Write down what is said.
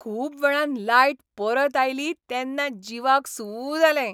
खूब वेळान लायट परत आयली तेन्ना जिवाक सू जालें.